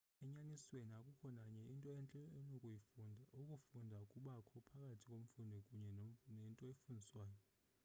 enyanisweni akukho nanye into entle onokuyifunda ukufunda kubakho phakathi komfundi kunye nento efundiswayo